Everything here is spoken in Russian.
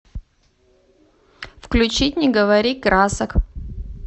включить не говори красок